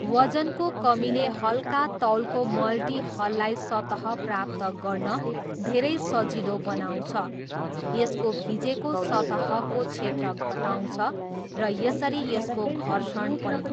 वजनको कमीले हल्का तौलको मल्टिहललाई सतह प्राप्त गर्न धेरै सजिलो बनाउँछ, यसको भिजेको सतहको क्षेत्र घटाउँछ र यसरी यसको घर्षण पनि।